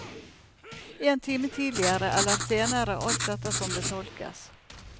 En time tidligere, eller senere alt etter som det tolkes.